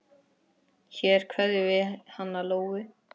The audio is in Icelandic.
Hér kveðjum við hana Lóu.